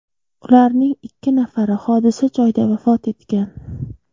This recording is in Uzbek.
Ularning ikki nafari hodisa joyida vafot etgan.